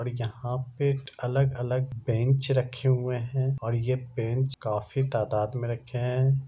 और यहां पे अलग-अलग बेंच रखे हुए हैं और ये बेंच काफी तादात में रखे हैं।